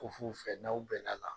Ko f'u fɛ n'aw bɛn n'a la.